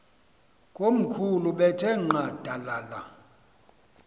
komkhulu bethe nqadalala